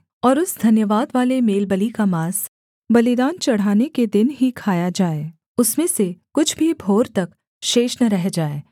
और उस धन्यवादवाले मेलबलि का माँस बलिदान चढ़ाने के दिन ही खाया जाए उसमें से कुछ भी भोर तक शेष न रह जाए